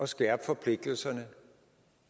skærpe forpligtelserne